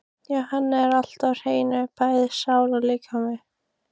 Hjá henni er allt á hreinu, bæði sálin og líkaminn.